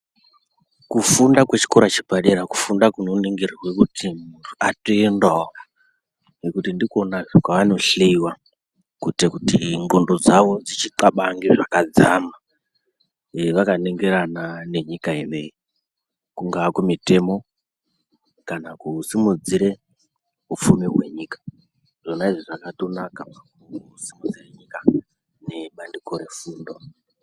Kufunda kwechikora chepadera kufunda kunoningirirwa kuti muntu atoendawo ngekuti ndikwonazve kwaanohleiwa kuite kuti ndcondo dzawo dzichitlabange zvakadzama ee vakaningirana nenyika ineyi kungaa kumitemo kana kusimudzire ufumi hwenyuka zvona izvi zvakatonaka kusimudzire nyika nebandiko rezvefundo.